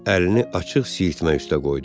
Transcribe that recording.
Əlini açıq siyirmə üstə qoydu.